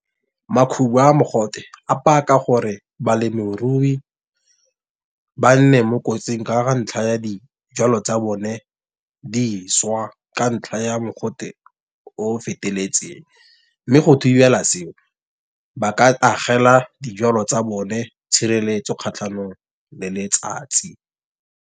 Makhubu a mogote a paka gore, balemirui ba nne mo kotsing ka ga ntlha ya dijalo tsa bone di swa ka ntlha ya mogote o feteletseng. Mme go thibela seo, ba ka agela dijalo tsa bone tshireletso kgatlhanong le letsatsi.